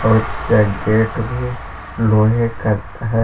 उसका एक गेट भी लोहे कत है।